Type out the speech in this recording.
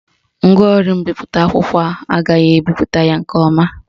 Ngwaọrụ mbipụta akwụkwọ a agaghị ebipụta ya nke ọma